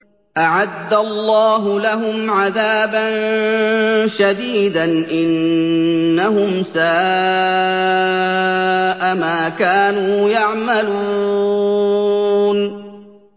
أَعَدَّ اللَّهُ لَهُمْ عَذَابًا شَدِيدًا ۖ إِنَّهُمْ سَاءَ مَا كَانُوا يَعْمَلُونَ